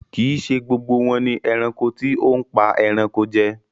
Kí ì ṣe gbogbo wọn ni ẹranko tí óhún pa ẹranko jẹ.